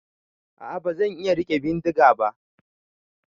A'a ban iya rike bindiga ba.